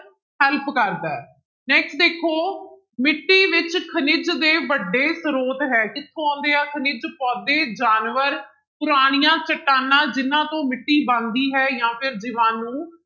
Help ਕਰਦਾ ਹੈ next ਦੇਖੋ ਮਿੱਟੀ ਵਿੱਚ ਖਣਿਜ ਦੇ ਵੱਡੇੇ ਸਰੋਤ ਹੈ ਕਿੱਥੋਂ ਆਉਂਦੇ ਆ ਖਣਿਜ ਪੋਦੇ ਜਾਨਵਰ, ਪੁਰਾਣੀਆਂ ਚਟਾਨਾਂ ਜਿਹਨਾਂ ਤੋਂ ਮਿੱਟੀ ਬਣਦੀ ਹੈ ਜਾਂ ਫਿਰ ਜੀਵਾਣੂ,